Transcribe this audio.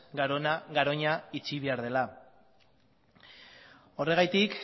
garoña itxi behar dela horregatik